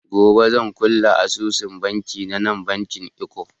Gobe zan kulle asusun banki na na bankin eko.